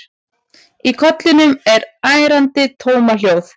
Í kollinum er ærandi tómahljóð.